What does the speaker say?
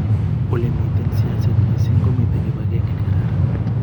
olemiten siaset mising komito kibangenge ngegararan